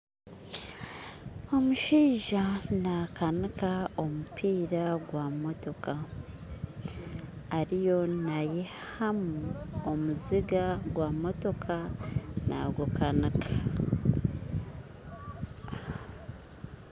Omushaija nakanika omupiira gwa motoka ariyo nayihamu omuziga gwa motoka nagukanika